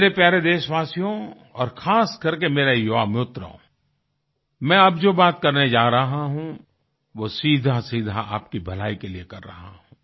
मेरे प्यारे देशवासियो और खासकरके मेरे युवा मित्रों मैं अब जो बात करने जा रहा हूँ वो सीधासीधा आपकी भलाई के लिए कर रहा हूँ